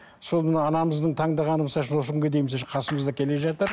сол мына анамыздың таңдағаны осы күнге дейін біздің қасымызда келе жатыр